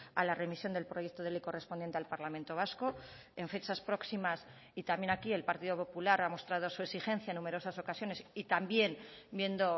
a la remisión del proyecto de ley correspondiente al parlamento vasco en fechas próximas y también aquí el partido popular ha mostrado su exigencia en numerosas ocasiones y también viendo